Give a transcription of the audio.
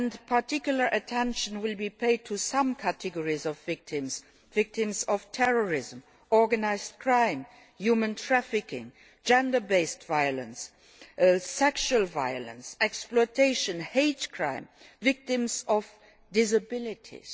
Particular attention will be paid to some categories of victims, victims of terrorism, organised crime, human trafficking, gender based violence, sexual violence, exploitation, hate crime, victims of disabilities.